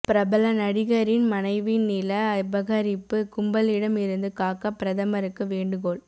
பிரபல நடிகரின் மனைவி நில அபகரிப்பு கும்பலிடம் இருந்து காக்க பிரதமருக்கு வேண்டுகோள்